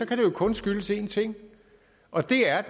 kan det kun skyldes en ting og det er